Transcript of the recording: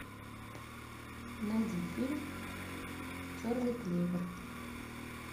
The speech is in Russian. найди фильм черный клевер